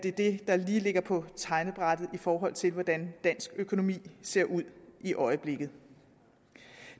er det der ligger på tegnebrættet i forhold til hvordan dansk økonomi ser ud i øjeblikket